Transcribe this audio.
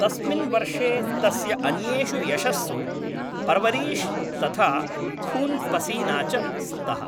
तस्मिन् वर्षे तस्य अन्येषु यशस्सु पर्वरीश् तथा खून् पसीना च स्तः।